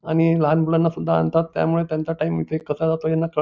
आणि लहान मुलांनासुद्धा आणतात त्यामुळे त्यांचा टाइम इथे कसा जातो त्यांना कळत --